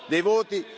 dei voti.